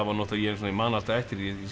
ég man alltaf eftir því